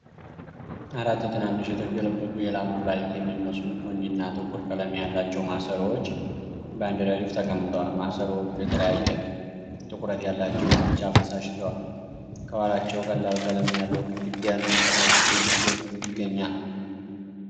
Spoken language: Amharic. አራት ትናንሽ የተገለበጡ የላም ኩላሊት የሚመስሉ፣ ቡኒና ጥቁር ቀለም ያላቸው ማሰሮዎች በአንድ ረድፍ ተቀምጠዋል። ማሰሮዎቹ የተለያየ ጥቁረት ያላቸውን ቢጫ ፈሳሽ ይዘዋል፤ ከኋላቸው ቀላል ቀለም ያለው ግድግዳና ከታች ቀይ ገጽ ይገኛል።